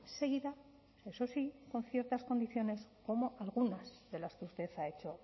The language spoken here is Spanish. seguida eso sí con ciertas condiciones como algunas de las que usted ha hecho